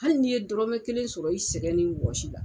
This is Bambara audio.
Hali n'i ye dɔrɔmɛ kelen sɔrɔ i sɛgɛn ni wɔsi la.